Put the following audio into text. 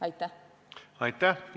Aitäh!